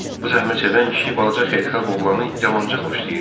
Bu zəhmətsevən kişi balaca xeyirxah oğlanı yamanca xoşlayırdı.